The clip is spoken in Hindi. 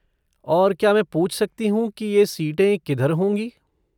और क्या मैं पूछ सकती हूँ कि ये सीटें किधर होंगी?